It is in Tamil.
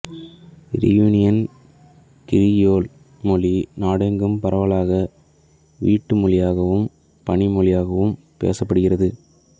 இரீயூனியன் கிரியோல் மொழி நாடெங்கும் பரவலாக வீட்டு மொழியாகவும் பணி மொழியாகவும் பேசப்பட்டுகிறது